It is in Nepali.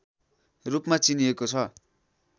रूपमा चिनिएको छ